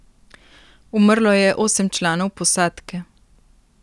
Umrlo je osem članov posadke.